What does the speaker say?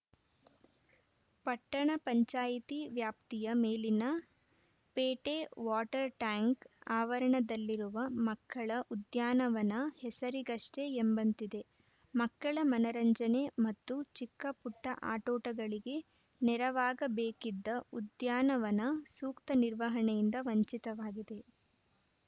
ಪಟ್ಟಣ ಪಂಚಾಯಿತಿ ವ್ಯಾಪ್ತಿಯ Melinapete water tank ಆವರಣದಲ್ಲಿರುವ ಮಕ್ಕಳ ಉದ್ಯಾನವನ ಹೆಸರಿಗಷ್ಟೇ ಎಂಬಂತಿದೆ ಮಕ್ಕಳ ಮನರಂಜನೆ ಮತ್ತು ಚಿಕ್ಕಪುಟ್ಟಆಟೋಟಗಳಿಗೆ ನೆರವಾಗಬೇಕಿದ್ದ ಉದ್ಯಾನವನ ಸೂಕ್ತ ನಿರ್ವಹಣೆಯಿಂದ ವಂಚಿತವಾಗಿದೆ